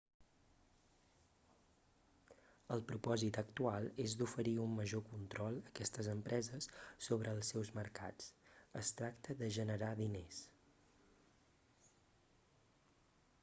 el propòsit actual és d'oferir un major control a aquestes empreses sobre els seus mercats es tracta de generar diners